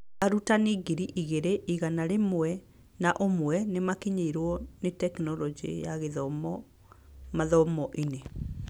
Arutani ngiri igĩrĩ igana rĩmwe na ũmwe nĩmakinyĩirwo nĩ Tekinoronjĩ ya Githomo mathomo-inĩ